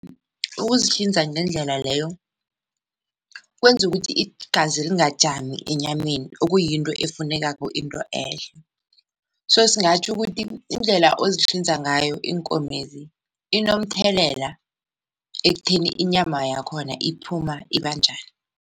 Ukuzihlinza ngendlela leyo kwenza ukuthi igazeli lingajami enyameni okuyinto efunekako into ehle, so singatjho ukuthi iindlela ozihlinza ngayo iinkomezi inomthelela ekutheni inyama yakhona iphuma ibanjani.